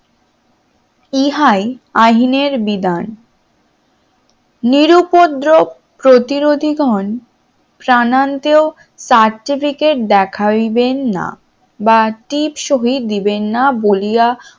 ইহাই আইনের বিধান নিরু উপদ্রব প্রতিরোধী গন প্রাণান্তেও certificate দেখাইবেন না বা টিপ সহি দিবেন না বলিয়া